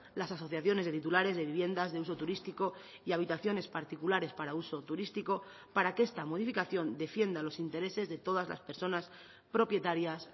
las asociaciones de titulares de viviendas de uso turístico y habitaciones particulares para uso turístico para que esta modificación defienda los intereses de todas las personas propietarias